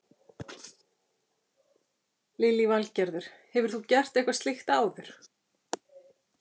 Lillý Valgerður: Hefur þú gert eitthvað slíkt áður?